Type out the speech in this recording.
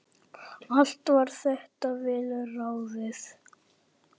Allt var þetta vel ráðið.